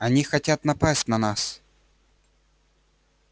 они хотят напасть на нас